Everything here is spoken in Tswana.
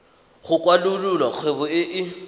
go kwalolola kgwebo e e